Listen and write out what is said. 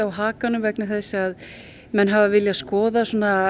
hakanum vegna þess að menn hafa viljað skoða